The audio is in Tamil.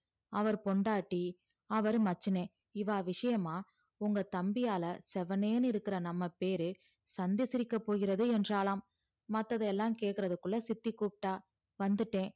அவர் பொண்டாட்டி அவர் மச்சுன இவர் விஷயமா உங்க தம்பியளா சேவுனுன்னு இருக்குற நம்ப பேறு சந்தி சிரிக்க போகிறது என்றால மத்ததுலா கேக்குறதுகுள்ள சித்தி குப்ட்டா வந்துட்டேன்